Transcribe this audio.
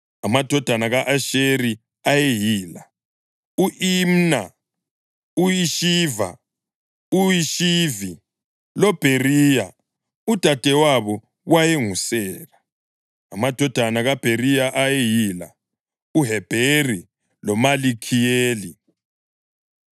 Amadodana ka-Asheri ayeyila: u-Imna, u-Ishiva, u-Ishivi loBheriya. Udadewabo wayenguSera. Amadodana kaBheriya ayeyila: uHebheri loMalikhiyeli.